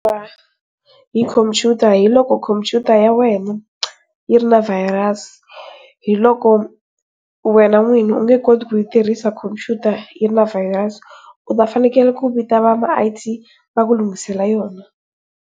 Ku xanisiwa hi khompyuta hi loko khompyuta ya wena yi ri na virus. Hiloko wena n'wini u nge koti ku yi tirhisa khompyuta yi na na virus u ta fanele ku vita va ma I_T va ku lunghisela yona.